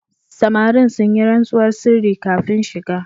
Samarin sun yi rantsuwar sirri kafin shiga.